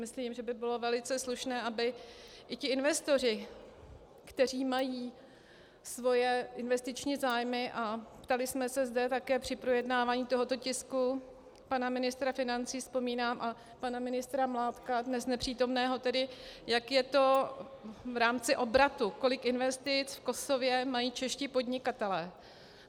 Myslím, že by bylo velice slušné, aby i ti investoři, kteří mají své investiční zájmy, a ptali jsme se zde také při projednávání tohoto tisku pana ministra financí, vzpomínám, a pana ministra Mládka, dnes nepřítomného, jak je to v rámci obratu, kolik investic v Kosově mají čeští podnikatelé.